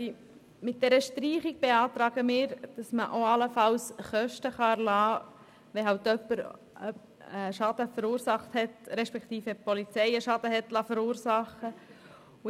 Mit dieser Streichung beantragen wir, dass unter Umständen auch Kosten erlassen werden können, wenn die Polizei einen Schaden verursacht hat.